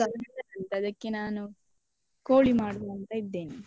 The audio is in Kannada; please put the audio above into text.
ಅದಕ್ಕೆ ನಾನು ಕೋಳಿ ಮಾಡುವ ಅಂತ ಇದ್ದೇನೆ.